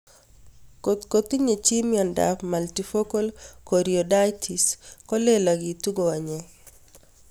Kotko tinye chii miondop multifocal choroiditis ko lelaketi konyek